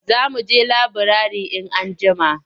Za mu je laburare in anjima.